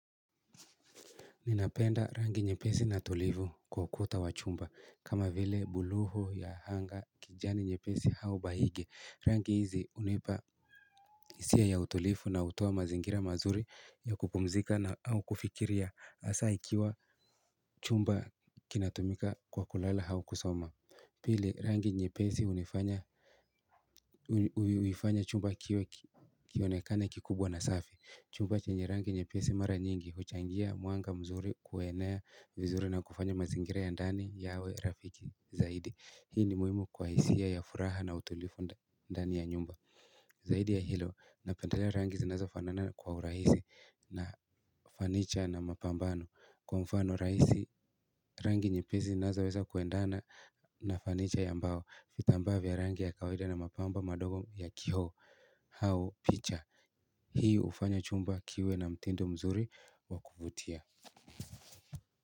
Ninapenda rangi nyepesi na tulivu kwa ukuta wa chumba. Kama vile buluu ya anga kijani nyepesi hau bahinge. Rangi hizi hunipa hisia ya utulivu na hutoa mazingira mazuri ya kupumzika au kufikiria hasa ikiwa chumba kinatumikakwa kulala au kusoma pili rangi nyepesi hunifanya huifanya chumba kionekane kikubwa na safi chumba chenye rangi nyepesi mara nyingi huchangia mwanga mzuri kuenea vizuri na kufanya mazingira ya ndani yawe rafiki zaidi hii ni muhimu kwa hisia ya furaha na utulivu ndani ya nyumba zaidi ya hilo napendalea rangi zinazofanana kwa urahisi na fanicha na mapambano kwa mfano rahisi rangi nyepesi zinazoweza kuendana na fanicha ya mbao vitambaa vya rangi ya kawaida na mapambo madogo ya kioo au picha hii hufanya chumba kiwe na mtindo mzuri wa kuvutia.